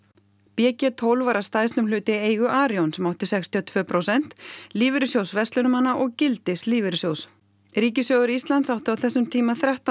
b g tólf var að stærstum hluta í eigu Arion sem átti sextíu og tvö prósent Lífeyrissjóðs verslunarmanna og gildis lífeyrissjóðs ríkissjóður Íslands átti á þessum tíma þrettán